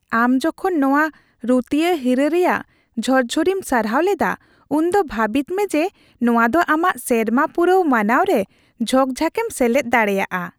ᱟᱢ ᱡᱚᱠᱷᱚᱱ ᱱᱚᱶᱟ ᱨᱩᱛᱤᱭᱟᱹ ᱦᱤᱨᱟᱹ ᱨᱮᱭᱟᱜ ᱡᱷᱚᱨᱡᱷᱚᱨᱤᱢ ᱥᱟᱨᱦᱟᱣ ᱞᱮᱫᱟ, ᱩᱱᱫᱚ ᱵᱷᱟᱹᱵᱤᱛᱢᱮ ᱡᱮ ᱱᱚᱶᱟ ᱫᱚ ᱟᱢᱟᱜ ᱥᱮᱨᱢᱟ ᱯᱩᱨᱟᱹᱣ ᱢᱟᱱᱟᱣᱨᱮ ᱡᱷᱚᱠᱼᱡᱷᱟᱠᱮᱢ ᱥᱮᱞᱮᱫ ᱫᱟᱲᱮᱭᱟᱜᱼᱟ ᱾